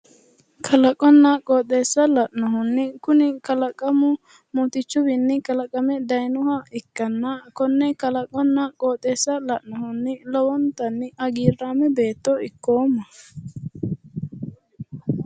Kalaqonna qooxeessa la'nohunni kuni kalaqamu mootichuwiinni kalaqame dayiinoha ikkanna konne kalaqonna qooxeessa la'nohunni lowonta hagiirrame beetto ikkoomma.